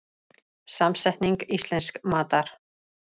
Samsetning íslensks matar